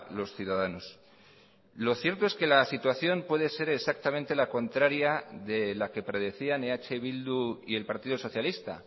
los ciudadanos lo cierto es que la situación puede ser exactamente la contraria de la que predecían eh bildu y el partido socialista